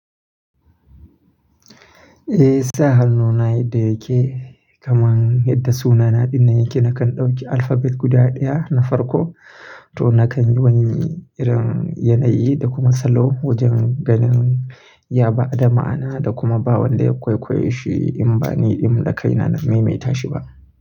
Eh sahal nona yadda yake kaman yadda sunana dina yake nakan dauki alphabet guda daya na farko to nakan yi wani irin yanayi da kuma salo wajen ganin ya ba da ma'ana da kuma ba wanda kwaikwaiyi shi in ba niɗin da kaina na maimaita shi ba.